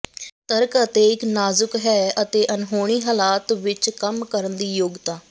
ਤਰਕ ਅਤੇ ਇੱਕ ਨਾਜ਼ੁਕ ਹੈ ਅਤੇ ਅਣਹੋਣੀ ਹਾਲਾਤ ਵਿੱਚ ਕੰਮ ਕਰਨ ਦੀ ਯੋਗਤਾ